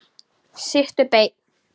Sittu beinn.